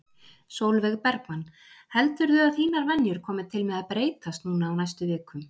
Sólveig Bergmann: Heldurðu að þínar venjur komi til með að breytast núna á næstu vikum?